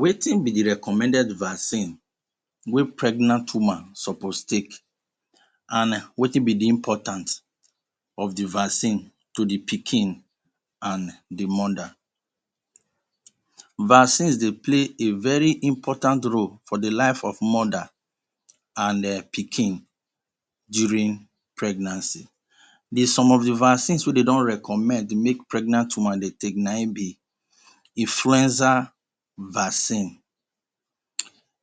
Wetin be the recommended vaccine wey pregnant woman suppose take and wetin be the important of the vaccine to the pikin and the mother? Vaccine dey play a very important role to the life of mother and pikin during pregnancy. The some of the vaccine wey dey don recommend make pregnant woman dey take na in be influenza vaccine,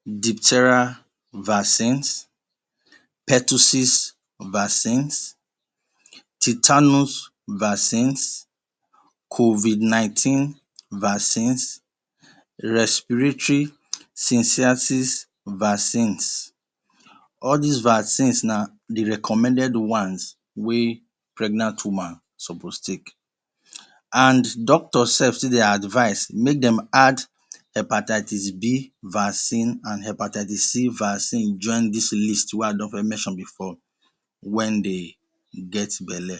diphtheria vaccines, pertussis vaccines, tetanus vacines, COVID 19 vaccines, respiratory Vacines, all these one’s na the recommended ones wey pregnant woman suppose take and doctor self still dey advice make them add hepatitis B vaccine and hepatitis C vaccines join these list wey a don mention before when they get bele.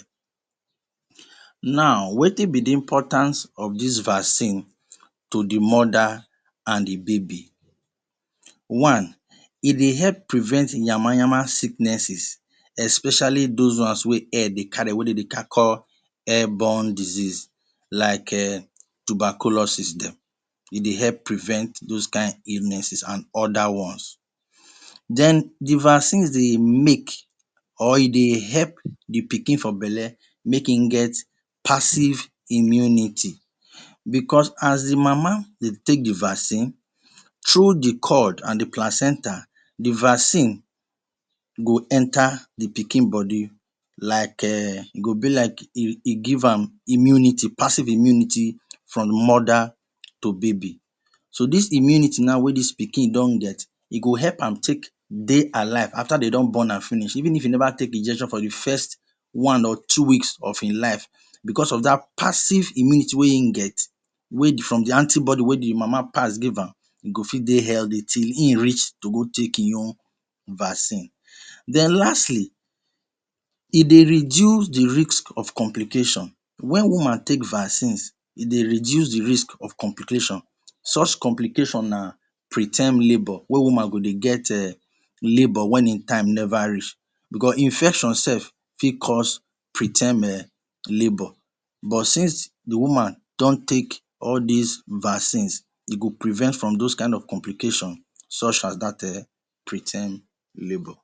Now wetin be the importance of this vaccine to the mother and the baby. One: e dey help prevent yama-yama sicknesses especially those ones wey air dey carry wey them they call air born diseases like em tuberculosis them e dey help prervent those kind illnesses and other ones. The vaccines dey make or e dey help the pikin for bele make im get passive immunity because as the mama dey take the vaccines through the cord and the placenta, the vaccine go enter the pikin body like um e go be like e e give am immunity passive immunity from mother to baby so this immunity wey pikin don get, e go help am take dey alive after dey don born am finish even if e never take injection for the first one or two weeks of his life because of that passive immunity wey in get wey from the antibody wey e mama pass give am e go dey healthy till him reach to go take him own vaccine. Then lastly, e dey reduce the risk of complication such complication when woman take vaccine e dey reduce the risk of complication such complication na pre-time labour wey woman go dey get labour um wey im time never reach because infection self fit cause pre-term um labor but since the woman don take all these vaccines e go prevent from those kind of complication such as dat um pre-time labor.